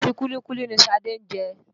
Ẹ̀pà àti kúlíkúlí ni Ṣadé ń jẹ.